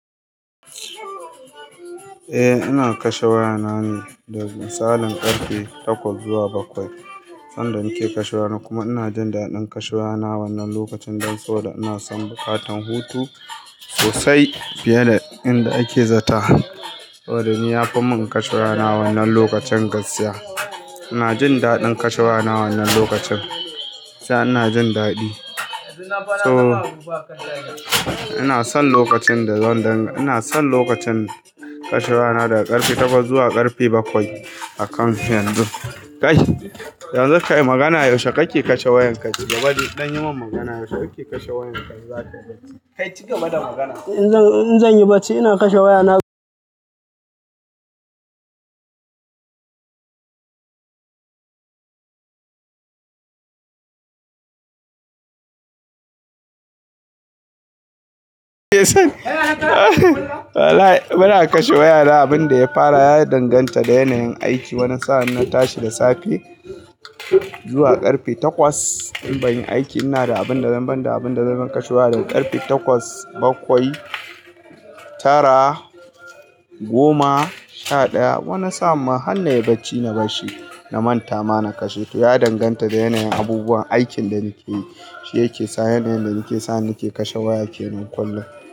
Eh ina kashe wayana ne da misalin karfe takwas zuwa bakwai. Sanda nake kashe waya kuma ina jin daɗin kashe waya wannan lokacin don sau da ina son bukatan hutu sosai fiye da inda ake zata. Waɗanni ya fi mun kashe waya wannan lokacin gaskiya. Ina jin daɗin kashe waya wannan lokacin. Sa'an nan jin daɗi. So ina son lokacin da zan dan ina son lokacin kashe waya daga ƙarfe takwas zuwa ƙarfe bakwai a kam yanzu. Kai, yanzu ka yi magana yaushe kake kashe wayanka? Tiƙiti game da magana. In zan yi bacci ina kashe wayana. Wala' bana kashe waya da abin da ya fara ya danganta da yanayin aiki. Wani sa'a ina tashi da safe zuwa ƙarfe takwas in banyi aiki. Ina da abin da zan ban da abin da zan kashe waya daga ƙarfe takwas, bakwai, tara, goma, sha ɗaya. Wani sa'a ma har na yi bacci na bashi na manta ma na kashe. To ya danganta da yanayin abubuwan aikin da nake yi, shi yake sa yanayin da nake sa nake kashe waya ke nan kullum.